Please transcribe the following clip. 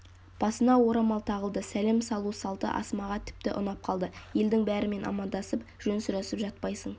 басына орамал тағылды сәлем салу салты асмаға тіпті ұнап қалды елдің бәрімен амандасып жөн сұрасып жатпайсың